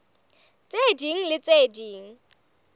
tse ding le tse ding